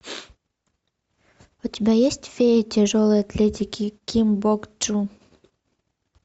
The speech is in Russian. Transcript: у тебя есть фея тяжелой атлетики ким бок джу